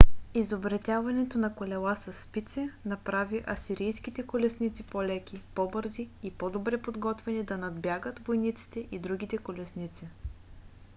изобретяването на колела със спици направи асирийските колесници по - леки по - бързи и по - добре подготвени да надбягат войниците и другите колесници